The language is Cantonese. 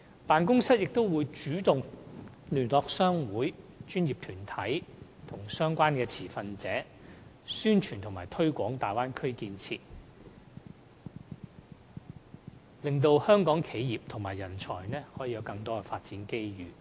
辦公室亦會主動聯絡各商會、專業團體和相關持份者，宣傳和推廣大灣區建設，令香港企業和人才能夠有更多發展機遇。